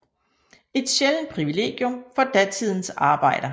Et sjældent privilegium for datidens arbejder